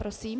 Prosím.